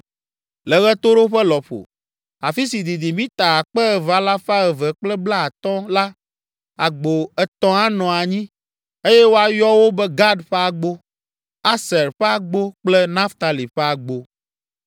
Le ɣetoɖoƒe lɔƒo, afi si didi mita akpe eve alafa eve kple blaatɔ̃ (2,250) la, agbo etɔ̃ anɔ anyi, eye woayɔ wo be Gad ƒe agbo, Aser ƒe agbo kple Naftali ƒe agbo.